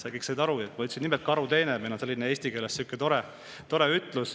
Kõik said aru, et ma ütlesin nimelt "karuteene", meil on eesti keeles sihuke tore sõna.